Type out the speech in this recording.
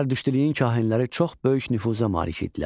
Zərdüştlüyün kahinləri çox böyük nüfuza malik idilər.